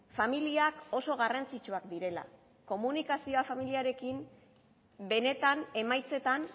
familiak oso garrantzitsuak direla komunikazioa familiarekin benetan emaitzetan